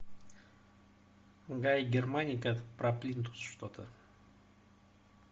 гай германика про плинтус что то